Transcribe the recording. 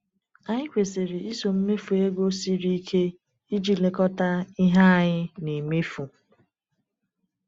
Anyị kwesiri iso mmefu ego siri ike iji lekọta ihe anyị na-emefu.